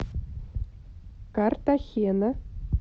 картахена